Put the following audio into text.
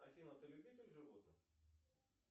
афина ты любитель животных